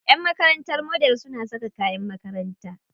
Ƴan makarantar Model suna saka kayan makaranta.